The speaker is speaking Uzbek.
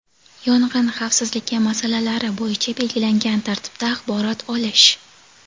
yong‘in xavfsizligi masalalari bo‘yicha belgilangan tartibda axborot olish;.